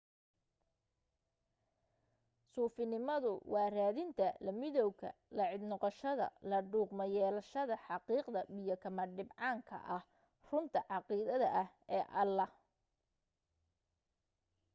suufinimadu waa raadinta la midawga la cid noqoshada la dhugmo-yeelashada xaqiiqda biyo kama dhibcaanka ah runta caqiideed ee ilaah